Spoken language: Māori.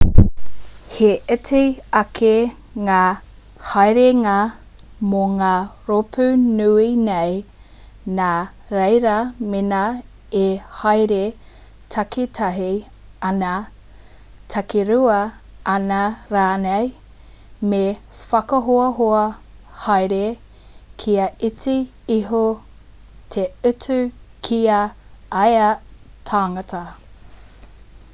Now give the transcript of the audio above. he iti ake ngā haerenga mō ngā rōpu nui nei nā reira mēnā e haere takitahi ana takirua ana rānei me whakahoahoa haere kia iti iho te utu ki ia tangata